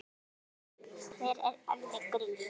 Hver er Elli Grill?